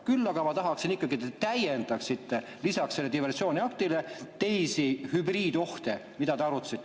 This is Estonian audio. Küll aga ma tahaksin ikkagi, et te täiendaksite, lisaks diversiooniaktile teisi hübriidohte, mida te arutasite.